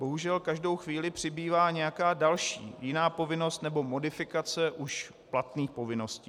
Bohužel každou chvíli přibývá nějaká další, jiná povinnost nebo modifikace už platných povinností.